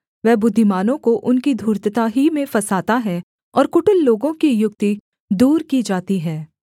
वह बुद्धिमानों को उनकी धूर्तता ही में फँसाता है और कुटिल लोगों की युक्ति दूर की जाती है